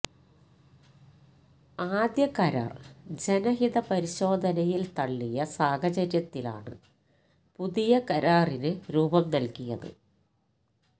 ആദ്യ കരാര് ജനഹിതപരിശോധനയില് തള്ളിയ സാഹചര്യത്തിലാണ് പുതിയ കരാറിന് രൂപം നല്കിയത്